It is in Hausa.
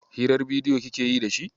Hirar bidiyo kike yi da shi?